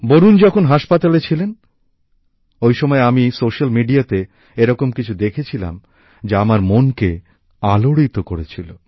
বরুণ যখন হাসপাতালে ছিলেন ওই সময় আমি সামাজিক মাধ্যমে এরকম কিছু দেখেছিলাম যা আমার মনকে আলোড়িত করেছিল